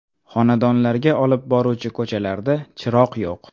Xonadonlarga olib boruvchi ko‘chalarda chiroq yo‘q.